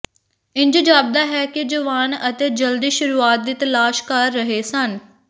ਇੰਜ ਜਾਪਦਾ ਹੈ ਕਿ ਜਵਾਨ ਅਤੇ ਜਲਦੀ ਸ਼ੁਰੂਆਤ ਦੀ ਤਲਾਸ਼ ਕਰ ਰਹੇ ਸਨ